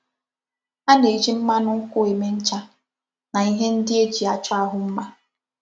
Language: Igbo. A na-eji mmánụ nkwụ eme ncha na ihe ndị eji achọ ahu mma.